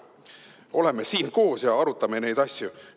Oleme siin koos ja arutame neid asju.